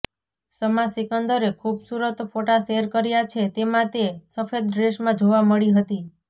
શમા સિકંદરે ખૂબસૂરત ફોટા શેર કર્યા છે તેમાં તે સફેદ ડ્રેસમાં જોવા મળી હતી